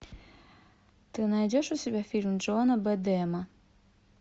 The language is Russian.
ты найдешь у себя фильм джона бэдэма